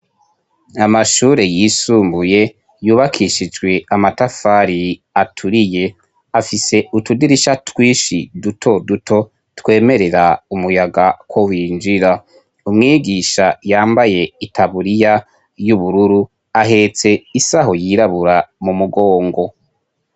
Amashure yisumbuye yubakishijwe amatafari aturiye afise utudirisha twishi duto duto twemerera umuyaga ko winjira umwigisha yambaye i taburiya y'ubururu ahetse isaho yirabura mu mugongo.